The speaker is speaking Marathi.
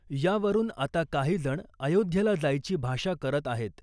यावरुन आता काहीजण अयोध्येला जायची भाषा करत आहेत .